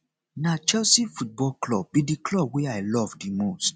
na chelsea football club be di club wey i love di most